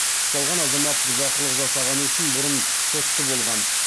ұсталған азамат бұзақылық жасағаны үшін бұрын сотты болған